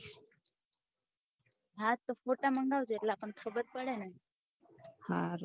હા તો ફોટા મંગાવજો એટલે અપને ખબર પડે ને હારું